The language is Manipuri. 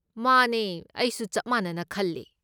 ꯃꯥꯅꯦ, ꯑꯩꯁꯨ ꯆꯞ ꯃꯥꯅꯅ ꯈꯜꯂꯦ꯫